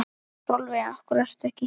Sólveig: Af hverju ekki?